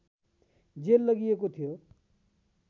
jail लगिएको थियो